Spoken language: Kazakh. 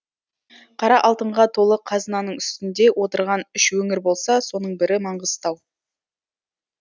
қара алтынға толы қазынаның үстінде отырған үш өңір болса соның бірі маңғыстау